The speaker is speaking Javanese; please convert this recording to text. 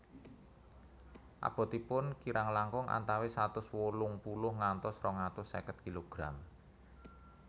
Abotipun kirang langkung antawis satus wolung puluh ngantos rong atus seket kilogram